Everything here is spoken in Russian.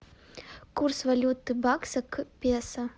курс валюты бакса к песо